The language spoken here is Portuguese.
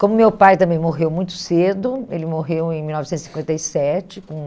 Como meu pai também morreu muito cedo, ele morreu em mil novecentos e cinquenta e sete, com